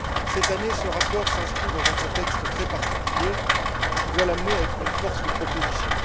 Cette année, ce rapport s'inscrit dans un contexte très particulier qui doit l'amener à être une force de proposition.